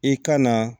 I ka na